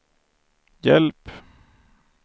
hjälp